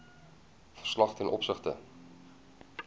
verslag ten opsigte